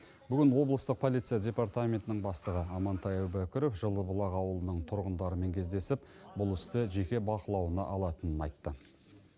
бүгін облыстық полиция департаментінің бастығы амантай әубәкіров жылыбұлақ ауылының тұрғындарымен кездесіп бұл істі жеке бақылауына алатынын айтты